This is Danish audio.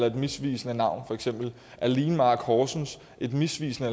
et misvisende navn er learnmark horsens et misvisende